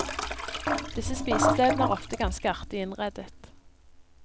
Disse spisestedene er ofte ganske artig innredet.